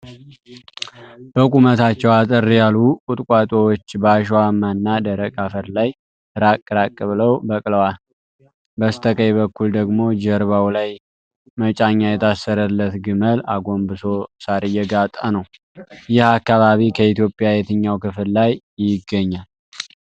በቁመታቸው አጠር ያሉ ቁጥቋጦዎች በአሸዋማ እና ደረቅ አፈር ላይ ራቅ ራቅ ብለው በቅለዋል። በስተቀኝ በኩል ደግሞ ጀርባው ላይ መጫኛ የታሰረለት ግመል አጎንብሶ ሳር እየጋጠ ነው። ይህ አካባቢ ከኢትዮጵያ የትኛው ክፍል ላይ ይገኛል?